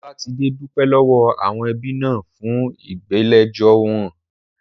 Olatide dupe lowo awon ebi na fun igbalejò won